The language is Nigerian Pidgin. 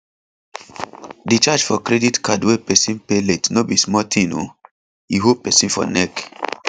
di charge for credit card when persin pay late no be small thing o e hold persin for neck